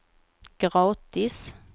gratis